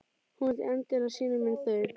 Hún vildi endilega sýna mér þau.